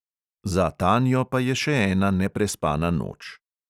Za tanjo pa je še ena neprespana noč.